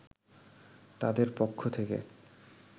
তাদের পক্ষ থেকে